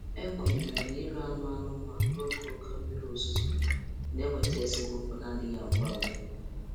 Ekwenyere na ire anụ anụmanụ n'oge oke mmiri ozuzo na-eweta esemokwu na-adịghị agwụ agwụ.